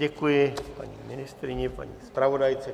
Děkuji paní ministryni, paní zpravodajce.